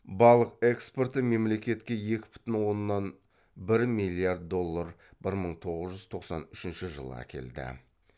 балық экспорты мемлекетке екі бүтін оннан бір миллиард доллар бір мың тоғыз жүз тоқсан үшінші жылы әкелді